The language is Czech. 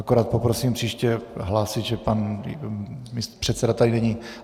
Akorát poprosím příště hlásit, že pan předseda tady není.